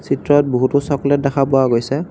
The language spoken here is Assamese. চিত্ৰত বহুতো চকলেট দেখা পোৱা গৈছে |